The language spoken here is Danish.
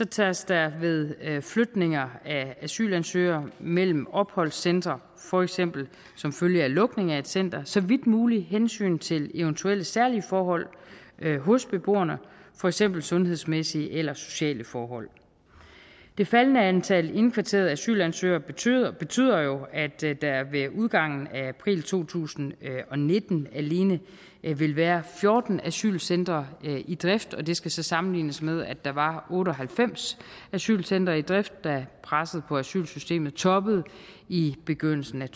tages der ved flytninger af asylansøgere mellem opholdscentre for eksempel som følge af lukning af et center så vidt muligt hensyn til eventuelle særlige forhold hos beboerne for eksempel sundhedsmæssige eller sociale forhold det faldende antal indkvarterede asylansøgere betyder betyder jo at der ved udgangen af april to tusind og nitten vil være fjorten asylcentre i drift og det skal så sammenlignes med at der var otte og halvfems asylcentre i drift da presset på asylsystemet toppede i begyndelsen